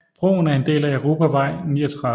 Broen er en del af europavej 39